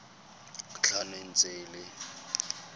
tlhano e ntse e le